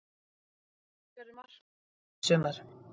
Hvert verður markmið Breiðabliks í sumar?